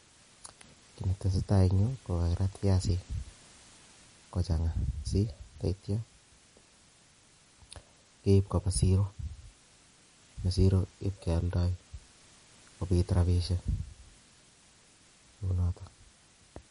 Kiy netesetai en yuu, kokakirat viazik kochang'a, sii teitya keip koba siro. Eng' siro ipkealdai kobiit rabishiek kounotok